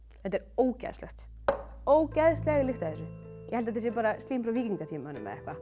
þetta er ógeðslegt ógeðsleg lykt af þessu ég held þetta sé bara slím frá víkingatímanum